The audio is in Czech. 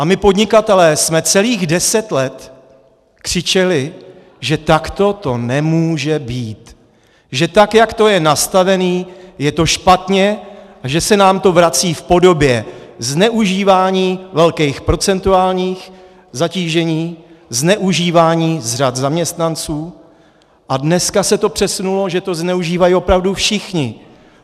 A my podnikatelé jsme celých deset let křičeli, že takto to nemůže být, že tak jak to je nastavený, je to špatně, a že se nám to vrací v podobě zneužívání velkých procentuálních zatížení, zneužívání z řad zaměstnanců a dneska se to přesunulo, že to zneužívají opravdu všichni!